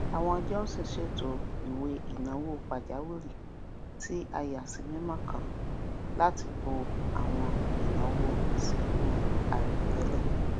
àwọn johnson ṣètò ìwéináwó pajàwìrì tí a yàsímímọ kan láti bó àwọn ináwó ìsìnkú àìròtẹlẹ